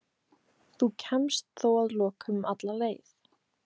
Þú kemst þó að lokum alla leið.